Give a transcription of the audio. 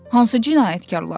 Hansı cinayətkarlar?